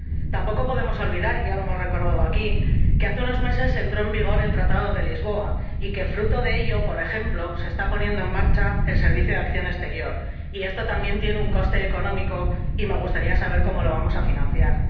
Tampoco podemos olvidar y ya lo hemos recordado aquí que hace unos meses entró en vigor el Tratado de Lisboa y que, fruto de ello, por ejemplo, se está poniendo en marcha el Servicio de Acción Exterior y esto también tiene un coste económico y me gustaría saber cómo lo vamos a financiar.